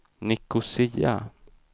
Nicosia